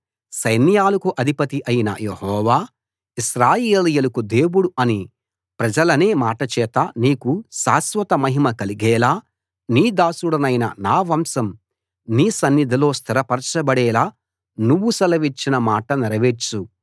సైన్యాలకు అధిపతి అయిన యెహోవా ఇశ్రాయేలీయులకు దేవుడు అని ప్రజలనే మాటచేత నీకు శాశ్వత మహిమ కలిగేలా నీ దాసుడనైన నా వంశం నీ సన్నిధిలో స్థిరపరచబడేలా నువ్వు సెలవిచ్చిన మాట నెరవేర్చు